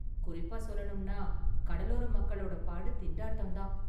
குறிப்பா சொல்லணும்னா, கடலோர மக்களோட பாடு திண்டாட்டம் தான்.